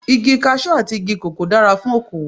Igi Kaṣú àti igi kòkó dára fún okowò.